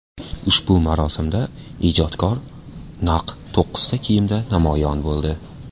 Ushbu marosimda ijodkor naq to‘qqizta kiyimda namoyon bo‘ldi.